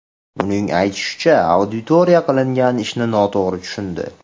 Uning aytishicha, auditoriya qilingan ishni noto‘g‘ri tushundi.